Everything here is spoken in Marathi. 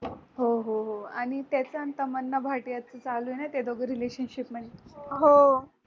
हो हो हो आणि त्याच आणि tamanna bhatia च चालूये ना ते दोघं relationship